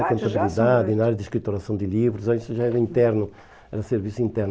Na área de contabilidade, na área de escrituração de livros, ah isso já era interno, era serviço interno.